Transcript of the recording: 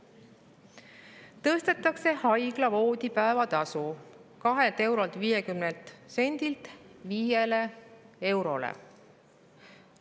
Tõstetakse haigla voodipäevatasu 2 eurolt ja 50 sendilt 5 eurole.